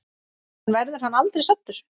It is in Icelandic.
En verður hann aldrei saddur?